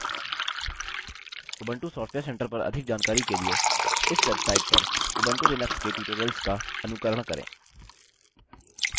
Ubuntu software centre पर अधिक जानकारी के लिए इस वेबसाइट पर उबंटू लिनक्स के टयूटोरियल्स का अनुकरण करें